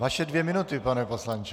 Vaše dvě minuty, pane poslanče!